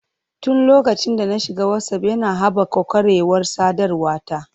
Tun lokacin da na shiga Whatsapp, yana haɓaka ƙwarewar sadarwa ta.